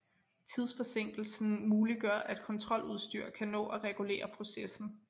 Tidsforsinkelsen muliggør at kontroludstyr kan nå at regulere processen